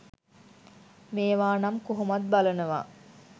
මේවා නම් කොහොමත් බලනවා!